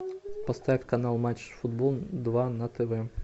поставь канал матч футбол два на тв